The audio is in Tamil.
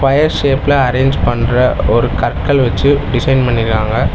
கொயர் ஷேப்ல அரேஞ்ச் பண்ற ஒரு கற்கள் வெச்சு டிசைன் பண்ணிருக்காங்க.